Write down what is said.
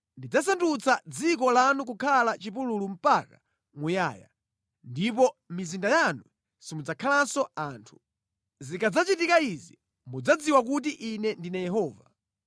Ndidzasandutsa dziko lanu kukhala chipululu mpaka muyaya, ndipo mʼmizinda yanu simudzakhalanso anthu. Zikadzachitika izi mudzadziwa kuti Ine ndine Yehova.